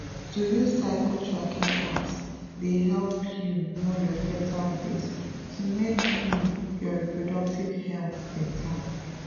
to use cycle tracking apps dey help you know your fertile days to make um your reproductive health better.